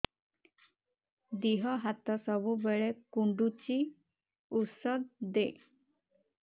ଦିହ ହାତ ସବୁବେଳେ କୁଣ୍ଡୁଚି ଉଷ୍ଧ ଦେ